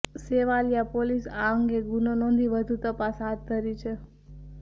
Sevaliya police આ અંગે ગુનો નોંધી વધુ તપાસ હાથ ધરી છે